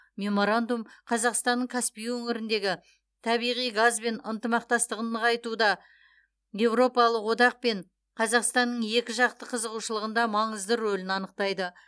меморандум қазақстанның каспий өңіріндегі табиғи газ бен ынтымақтастығын нығайтуда еуропалық одақпен қазақстанның екіжақты қызығушылығында маңызды рөлін анықтайды